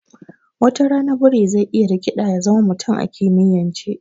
Watara biri zai iya rikiɗa ya zama mutum a kimiyance